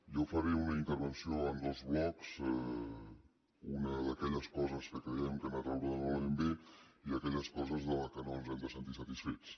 jo faré una intervenció en dos blocs una d’aquelles coses que creiem que han anat raonablement bé i aquelles coses de les quals no ens hem de sentir satisfets